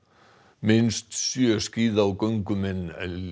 minnst sjö skíða og göngumenn